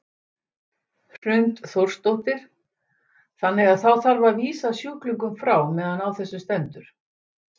Hrund Þórsdóttir: Þannig að þá þarf að vísa sjúklingum frá meðan á þessu stendur?